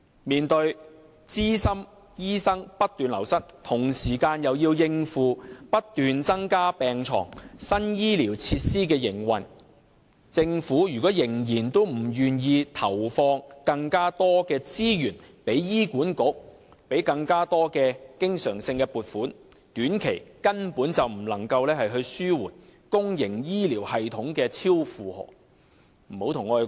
面對資深醫生不斷流失，同時又要應付不斷增加病床和新醫療設施的營運，政府如果仍然不願意向醫管局投放更多資源，給予更多經常性撥款，短期內根本不能紓緩公營醫療系統的超負荷情況。